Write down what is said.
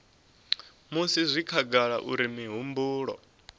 musi zwi khagala uri mihumbulo